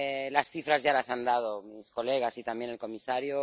Las cifras ya las han dado mis colegas, y también el comisario.